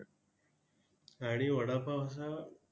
आणि वडापावचा